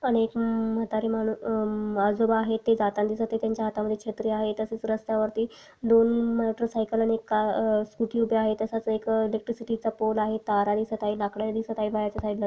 आणि एक म्हातारा मानुस अ आजोबा आहेत ते जातानी त्यांच्या हातामध्ये छत्री आहे तसेच रस्त्यावरती दो मोटरसायकल आनी एक का स्कूटी उभे आहे तसाच एक इलेक्ट्रिसिटी चा पोल आहे तार आहे सताही काही लाकड आणि सताही बाहेरच्या साइडन --